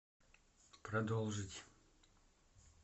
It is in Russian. продолжить